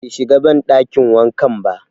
Be shiga banɗakin wankan ba